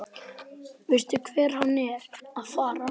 Veistu hvert hann er að fara?